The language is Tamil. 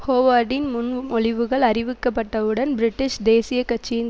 ஹோவார்டின் முன்மொழிவுகள் அறிவிக்கப்பட்டவுடன் பிரிட்டிஷ் தேசிய கட்சியின்